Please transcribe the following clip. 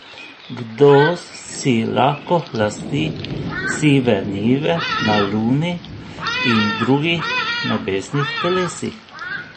Kdo si lahko lasti sive njive na Luni in drugih nebesnih telesih?